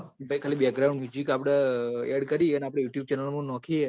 પહી ખાલે આપડ aad કરી એ અન youtubechannel મો નોખીયે